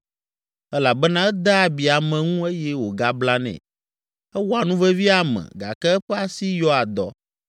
Elabena edea abi ame ŋu eye wògablanɛ, ewɔa nuvevi ame gake eƒe asi yɔa dɔ.